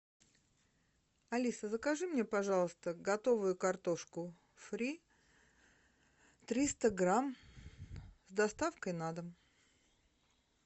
алиса закажи мне пожалуйста готовую картошку фри триста грамм с доставкой на дом